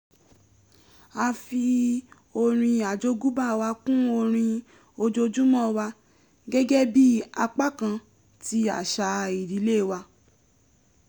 a fi orin àjógúnbá wa kún orin ojoojúmọ́ wa gẹ́gẹ́ bí apá kan ti àṣà ìdílé wa